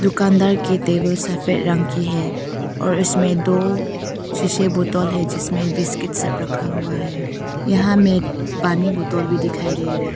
दुकानदार की टेबल सफेद रंग की है और इसमें दो शीशे बोतल हैं जिसमें बिस्किट सब रखा हुआ है यहां में पानी बोतल भी दिखाई दे रहा